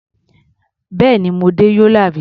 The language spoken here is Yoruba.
Bẹ́ẹ̀ni, mo dé Yola rí.